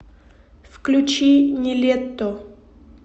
включи нилетто